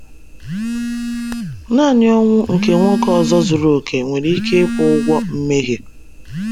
Naanị ọnwụ nke nwoke ọzọ zuru oke nwere ike ịkwụ ụgwọ mmehie.